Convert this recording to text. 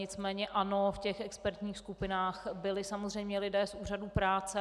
Nicméně ano, v těch expertních skupinách byli samozřejmě lidé z úřadu práce.